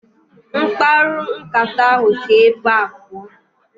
Mkparu nkata ahụ si ébé pụọ